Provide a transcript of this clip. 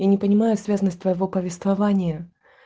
я не понимаю связанность твоего повествование